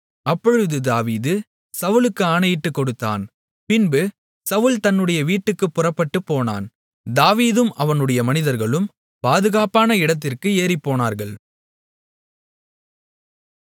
அப்பொழுது தாவீது சவுலுக்கு ஆணையிட்டுக்கொடுத்தான் பின்பு சவுல் தன்னுடைய வீட்டுக்குப் புறப்பட்டுப்போனான் தாவீதும் அவனுடைய மனிதர்களும் பாதுகாப்பான இடத்திற்கு ஏறிப்போனார்கள்